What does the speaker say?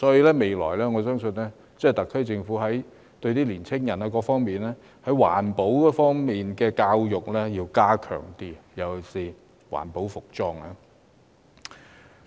因此，我相信未來特區政府將有需要加強青年人對環保方面的教育，尤其是環保服裝。